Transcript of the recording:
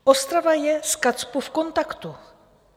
Ostrava je s KACPU v kontaktu.